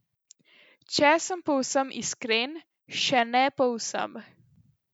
Če sem povsem iskren, še ne povsem.